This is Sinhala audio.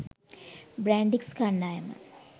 බ්‍රැන්ඩික්ස් කණ්ඩායම